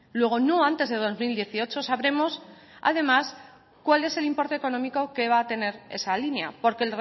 luego no antes de dos mil dieciocho sabremos además cuál es el importe económico que va a tener esa línea porque